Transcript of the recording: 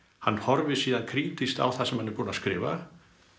hann horfir síðan krítískt á það sem hann er búinn að skrifa